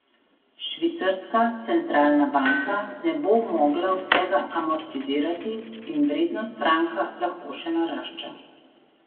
Švicarska centralna banka ne bo mogla vsega amortizirati in vrednost franka lahko še narašča.